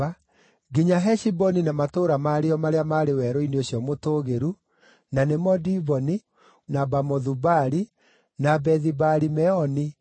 nginya Heshiboni na matũũra marĩo marĩa maarĩ werũ-inĩ ũcio mũtũũgĩru, na nĩmo Diboni, na Bamothu Baali, na Bethi-Baali-Meoni, na